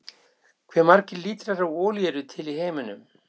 Hversu margir lítrar af olíu eru til í heiminum?